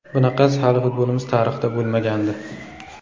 Bunaqasi hali futbolimiz tarixida bo‘lmagandi.